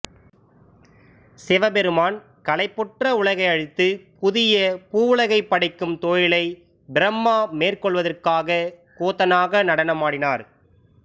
சிவபெருமான் களைப்புற்ற உலகை அழித்து புதிய பூவுலகைப் படைக்கும் தொழிலை பிரம்மா மேற்கொள்வதற்காக கூத்தனாக நடனமாடினார்